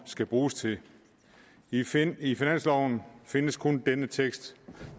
skal bruges til i til i finansloven findes kun denne tekst